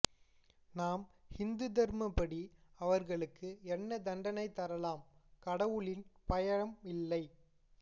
நம் ஹிந்து தர்ம படி அவர்களுக்கு என்ன தண்டனை தரலாம் கடவுளின் பயம் இல்லை